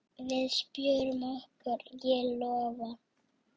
Við spjörum okkur, ég lofa.